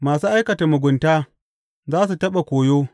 Masu aikata mugunta za su taɓa koyo.